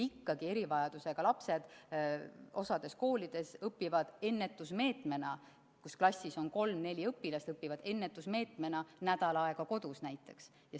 Näiteks osas koolides, kus klassis on kolm-neli õpilast, õpivad erivajadusega lapsed ennetusmeetmena nädal aega kodus.